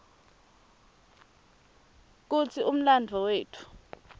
kutsi umlandvo wetfu